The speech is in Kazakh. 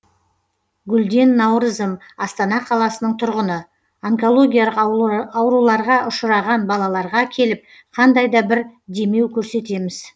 гүлден наурызым астана қаласының тұрғыны онкологиялық ауруларға ұшыраған балаларға келіп қандай да бір демеу көрсетеміз